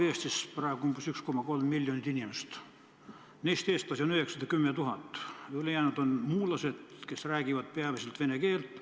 Eestis elab praegu 1,3 miljonit inimest, neist eestlasi on 910 000, ülejäänud on muulased, kes räägivad peamiselt vene keelt.